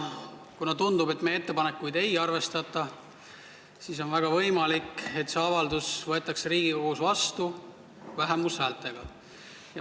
Kuna tundub, et meie ettepanekuid ei arvestata, siis on väga võimalik, et see avaldus võetakse Riigikogus vastu vähemushäältega.